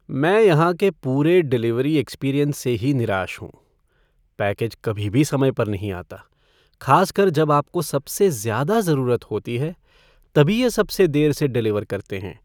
मैं यहाँ के पूरे डिलीवरी एक्सपीरियंस से ही निराश हूँ, पैकेज कभी भी समय पर नहीं आता, खासकर जब आपको सबसे ज़्यादा ज़रूरत होती है, तभी यह सबसे देर से डिलीवर करते हैं।